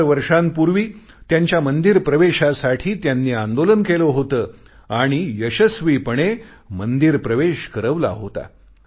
हजार वर्षांपूर्वी त्यांच्या मंदिर प्रवेशासाठी त्यांनी आंदोलन केले होते आणि यशस्वीपणे मंदिर प्रवेश करवला होता